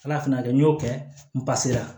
Ala fɛnɛ y'a kɛ n y'o kɛ n